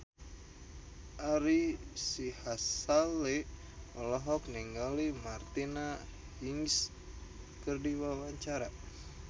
Ari Sihasale olohok ningali Martina Hingis keur diwawancara